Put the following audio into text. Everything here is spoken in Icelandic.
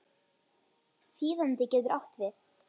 Þýðandi getur átt við